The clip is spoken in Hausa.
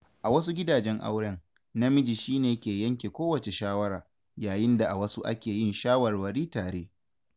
A wasu gidajen auren, namiji shi ne ke yanke kowace shawara, yayin da a wasu ake yin shawarwari tare.